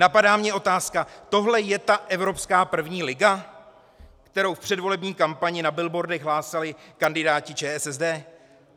Napadá mě otázka - tohle je ta evropská první liga, kterou v předvolební kampani na billboardech hlásali kandidáti ČSSD?